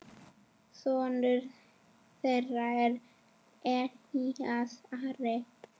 Sonur þeirra er Elías Ari.